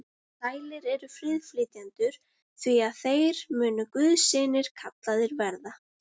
Sælir eru friðflytjendur, því að þeir munu guðs synir kallaðir verða.